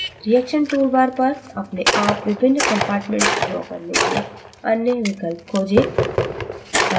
reaction toolbar पर अपने आप विभिन्न compartments draw करने के अन्य विकल्प खोजें